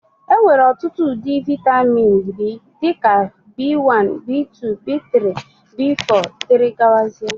Enwere ọtụtụ ụdị vitamin B dị ka B1, B2, B3, B4 etc